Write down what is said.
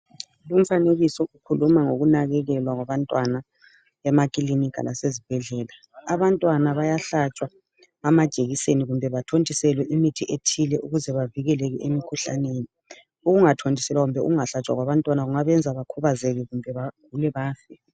Lumfanekiso ukhuluma ngokunakekelwa kwabantwana emakilinika lasezibhedlela, abantwana bayahlatshwa amajekiseni kumbe bathontiselwe imithi ethile ukuze bavikeleke emikhuhlaneni. Ukungathontiselwa kumbe ukungahlatshwa kwabantwana kungabenza bakhubazeke kumbe bagule bafe.